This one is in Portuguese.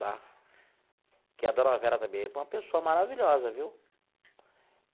Tá? Porque a Dona Vera também é uma pessoa maravilhosa, viu?